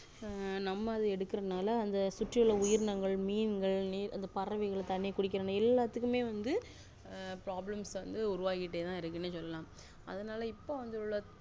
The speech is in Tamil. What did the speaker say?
ஆஹ் நம்ம அத எடுக்குற நால சுற்றியுள்ள உயிரினங்கள் மீன்கள் அந்த பறவைகள் தண்ணிய குடிகிரனால எல்லாத்துக்குமே வந்து அஹ் problems வந்து உருவகிட்டே இருக்குனு சொல்லலாம் அதனால இப்போ வந்து ஆஹ்